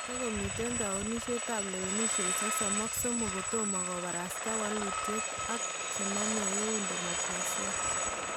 Takomiten towunishek ab lewenisheet 33 kotomo kobarasta walutiet ak chename eun demokrasia